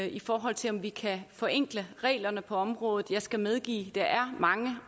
i forhold til om vi kan forenkle reglerne på området jeg skal medgive at der er mange